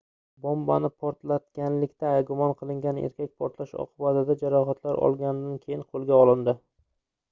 bombani portlatganlikda gumon qilingan erkak portlash oqibatida jarohatlar olganidan keyin qoʻlga olindi